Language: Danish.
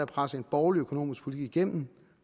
presse en borgerlig økonomisk politik igennem